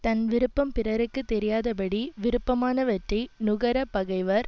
தன் விருப்பம் பிறர்க்கு தெரியாதபடி விருப்பமான வற்றை நுகர பகைவர்